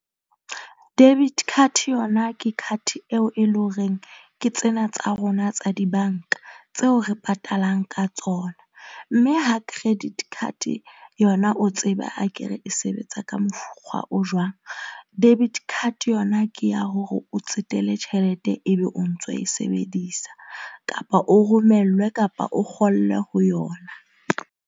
Debit card yona ke card eo e leng horeng ke tsena tsa rona tsa dibanka tseo re patalang ka tsona mme ha credit card yona o tseba a ke re e sebetsa eng, ka mokgwa o jwang. Debit card yona ke ya hore o tsetele tjhelete, ebe o ntso e sebedisa kapa o romellwe kapa o kgolwe ho yona.